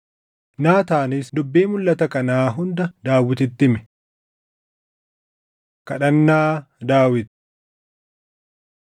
Naataanis dubbii mulʼata kanaa hunda Daawititti hime. Kadhannaa Daawit 17:16‑27 kwf – 2Sm 7:18‑29